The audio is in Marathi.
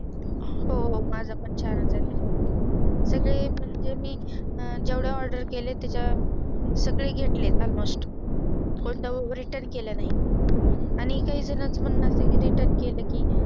हो हो माझं पण छान आहे त्यावरती मी जेवढे Order केले त्याच्या सगळे घेतले Almost कोणताही Return केले नाहि आणि काही जरुरत पण नसते बा Return केले कि